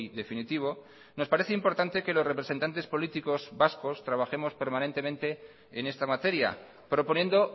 definitivo nos parece importante que los representantes políticos vascos trabajemos permanentemente en esta materia proponiendo